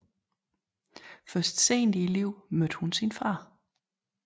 Først sent i livet mødte hun sin far